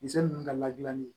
Misɛn ninnu ka ladilannen